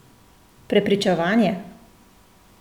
Prepričevanje!